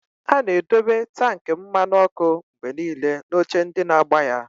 A na-edobe tankị mmanụ ọkụ mgbe niile na oche ndị na-agba ya.